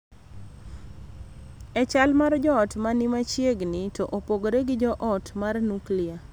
E chal mar joot ma ni machiegni to opogore gi joot mar nuklia.